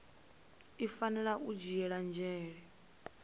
i fanela u dzhiela nzhele